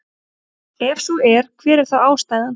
Ef svo er hver er þá ástæðan?